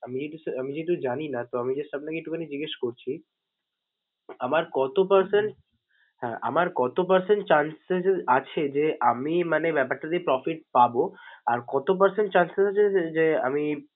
আমি just আমি যেহেতু জানি না, তো আমি just আপনাকে একটুখানি জিগ্যেস করছি আমার কত percent হ্যাঁ আমার কত percent chances আছে যে আমি মানে ব্যাপারটাতে profit পাবো? আর কত percent chances আছে যে আমি